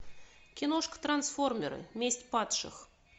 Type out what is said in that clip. киношка трансформеры месть падших